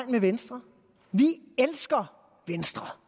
med venstre vi elsker venstre